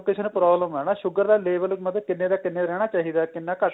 ਕਿਸੇ ਨੂੰ problem ਏ ਨਾ sugar ਦਾ level ਮਤਲਬ ਕਿੰਨੇ ਦਾ ਕਿੰਨੇ ਰਹਿਣਾ ਚਾਹੀਦਾ ਕਿੰਨਾ